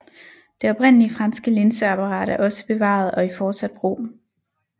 Det oprindelige franske linseapparat er også bevaret og i fortsat brug